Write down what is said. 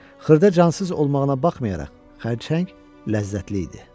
Xırda cansız olmağına baxmayaraq, xərçəng ləzzətli idi.